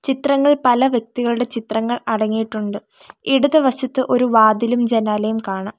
ചിത്രങ്ങൾ പല വ്യക്തികളുടെ ചിത്രങ്ങൾ അടങ്ങിയിട്ടുണ്ട് ഇടതുവശത്ത് ഒരു വാതിലും ജനാലയും കാണാം.